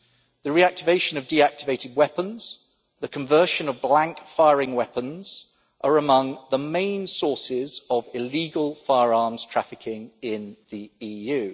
The reactivation of deactivated weapons and the conversion of blank firing weapons are among the main sources of illegal firearms trafficking in the